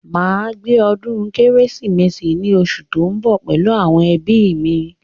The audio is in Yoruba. Màá ṣe ọdún kérésìmesì ní osù tó ń bọ̀ pẹ̀lú àwọn ẹbí mi